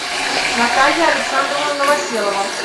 наталья александровна новоселова